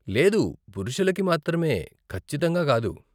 లేదు, పురుషులకి మాత్రమే ఖచ్చితంగా కాదు.